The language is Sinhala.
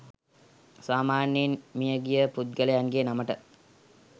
සාමාන්‍යයෙන් මිය ගිය පුද්ගලයන්ගේ නමට